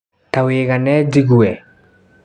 Ta wĩgane njigue.